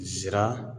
Sira